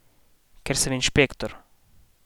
Ker sem inšpektor!